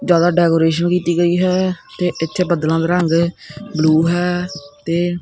ਜਿਆਦਾ ਡੈਕੋਰੇਸ਼ਨ ਕੀਤੀ ਗਈ ਹੈ ਤੇ ਇੱਥੇ ਬੱਦਲਾਂ ਦਾ ਰੰਗ ਬਲੂ ਹੈ ਤੇ।